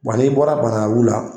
Wa n'i bɔra bananka bugula